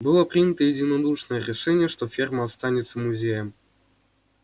было принято единодушное решение что ферма останется музеем